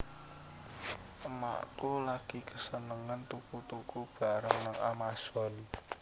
Emakku lagi kesenengen tuku tuku barang nang Amazon